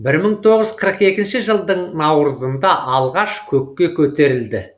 мың тоғыз жүз қырық екі жылдың наурызында алғаш көкке көтерілді